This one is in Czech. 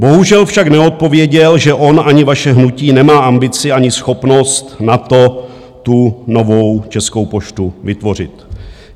Bohužel však neodpověděl, že on ani vaše hnutí nemá ambici ani schopnost na to, tu novou Českou poštu vytvořit.